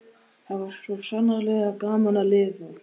Það var svo sannarlega gaman að lifa!